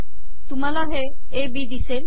तुमहाला A B िदसेल